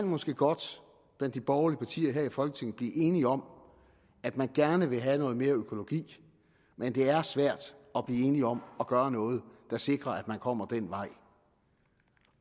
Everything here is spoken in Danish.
måske godt blandt de borgerlige partier her i folketinget kan blive enige om at man gerne vil have noget mere økologi men det er svært at blive enige om at gøre noget der sikrer at man kommer den vej